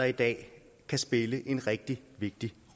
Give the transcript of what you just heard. i dag kan spille en rigtig vigtig